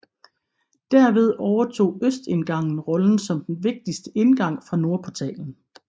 Derved overtog østindgangen rollen som den vigtigste indgang fra nordportalen